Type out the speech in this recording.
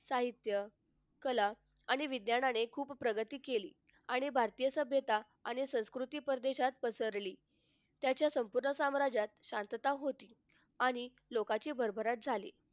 साहित्य कला आणि विज्ञानाने खूपच प्रगती केली आणि भारतीय सभ्यता आणि संस्कृती परदेशात पसरली. त्याच्या संपूर्ण साम्राज्यात शांतता होती. आणि लोकांची भरभराट झाली.